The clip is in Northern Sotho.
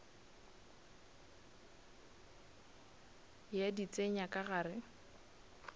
ya di tsenya ka gare